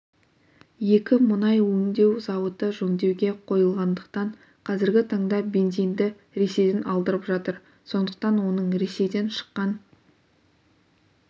екі мұнай өңдеу зауыты жөндеуге қойылғандықтан қазіргі таңда бензинді ресейден алдырып жатыр сондықтан оның ресейден шыққан